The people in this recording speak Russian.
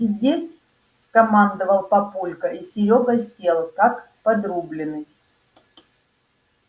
сидеть скомандовал папулька и серёга сел как подрубленный